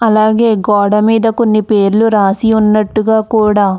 అలాగే గోడ మీద కొన్ని పేర్లు రాసి ఉన్నట్టు కూడా --